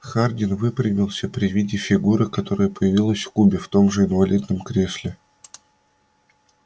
хардин выпрямился при виде фигуры которая появилась в кубе в том же инвалидном кресле